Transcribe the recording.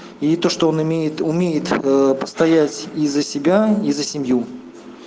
это что он имеет умеет постоять и за себя и за семью